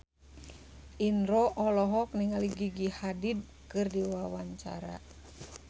Indro olohok ningali Gigi Hadid keur diwawancara